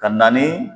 Ka na ni